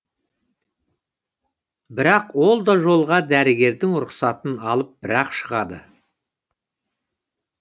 бірақ ол да жолға дәрігердің рұқсатын алып бірақ шығады